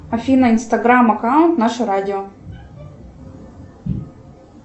афина инстаграм аккаунт наше радио